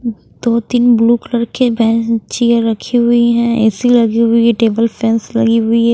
दो तीन blue colour के बेंचियां रखीं हुई हैं ए_सी लगी हुई टेबल फैंस लगी हुई हैं।